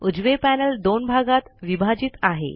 उजवे पैनल दोन भागात विभाजित आहे